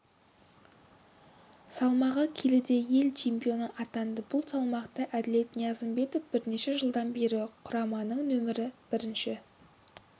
салмағы келіде ел чемпионы атанды бұл салмақта әділбек ниязымбетов бірнеше жылдан бері құраманың нөмірі бірінші